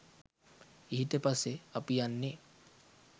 ඊට පස්සේ අපි යන්නේ